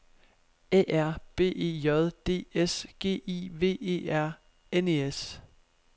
A R B E J D S G I V E R N E S